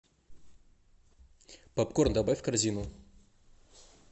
попкорн добавь в корзину